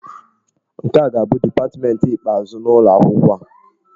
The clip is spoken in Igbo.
Nke a ga-abụ dipatmentị ikpeazụ n'ụlọ akwụkwọ a.